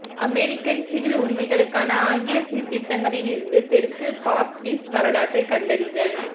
American civil உரிமைகளுக்கான ஆங்கில சீர்திருத்தங்களிலிருந்து தெற்கு பாப்டிஸ்ட் வரலாற்றைக் கண்டறிதல்